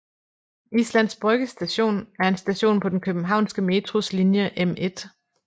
Islands Brygge Station er en station på den københavnske Metros linje M1